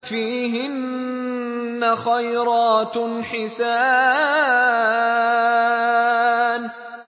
فِيهِنَّ خَيْرَاتٌ حِسَانٌ